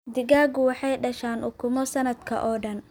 Digaagga waxay dhashaan ukumo sanadka oo dhan.